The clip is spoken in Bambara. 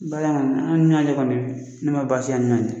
Baara in kɔni kɔni ne ma baasi ye ani ɲɔgɔn cɛ